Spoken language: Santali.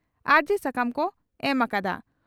ᱟᱹᱨᱡᱤ ᱥᱟᱠᱟᱢ ᱠᱚ ᱮᱢ ᱟᱠᱟᱫᱼᱟ ᱾